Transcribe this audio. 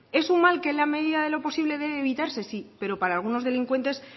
es un mal que en la medida de lo posible debe evitarse sí pero para algunos delincuentes